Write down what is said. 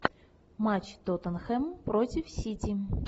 матч тоттенхэм против сити